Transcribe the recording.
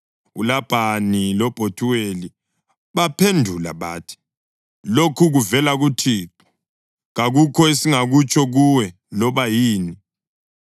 ULabhani loBhethuweli baphendula bathi, “Lokhu kuvela kuThixo; kakukho esingakutsho kuwe, loba yini.